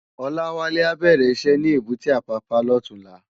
Olawale á bèrè iṣè ni ébùté Apapa lòtúnlá